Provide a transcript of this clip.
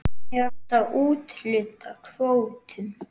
Hvernig átti að úthluta kvótum?